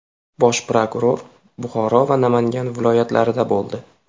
Bosh prokuror Buxoro va Namangan viloyatlarida bo‘ldi.